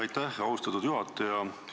Aitäh, austatud juhataja!